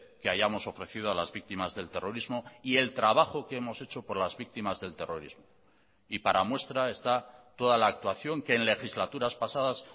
que hayamos ofrecido a las víctimas del terrorismo y el trabajo que hemos hecho por las víctimas del terrorismo y para muestra está toda la actuación que en legislaturas pasadas